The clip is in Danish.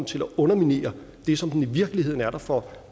til at underminere det som den i virkeligheden er der for